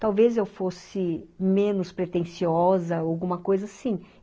Talvez eu fosse menos pretenciosa, alguma coisa assim.